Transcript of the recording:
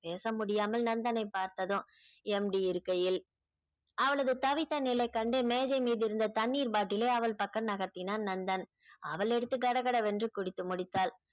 பேச முடியாமல் நந்தனை பார்த்ததும் MD இருக்கையில் அவளது தவித்த நிலை கண்டு மேஜை மீதிருந்த தண்ணீர் bottle ஐ அவள் பக்கம் நகர்த்தினான் நந்தன் அவள் எடுத்து கடகடவென்று குடித்து முடித்தாள்